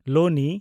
ᱞᱳᱱᱤ